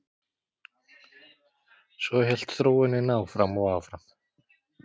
Svo hélt þróunin áfram og áfram.